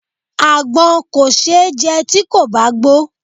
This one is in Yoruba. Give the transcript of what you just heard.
Àgbọn kò ṣe é jẹ tí kò bá gbó.